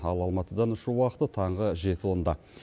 ал алматыдан ұшу уақыты таңғы жеті онда